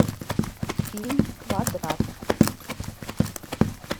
фильм квадрат